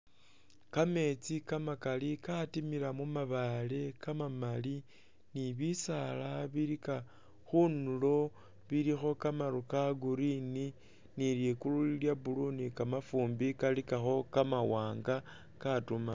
Kametsi Kamakali katimila mu mabaale kamamali ni bisaala bilika khundulo bilikho kamaru ka green ni ligulu lili lya blue ni kamafumbi kalikakho kama wanga katuma.